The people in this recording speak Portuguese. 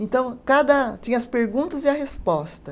Então cada, tinha as perguntas e a resposta.